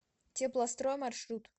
теплострой маршрут